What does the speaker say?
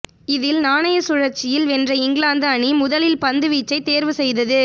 இதில் நாணய சுழற்சியில் வென்ற இங்கிலாந்து அணி முதலில் பந்து வீச்சை தேர்வு செய்தது